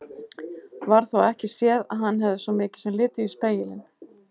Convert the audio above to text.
Varð þó ekki séð að hann hefði svo mikið sem litið í spegilinn.